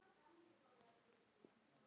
Malla systir eru alveg eins.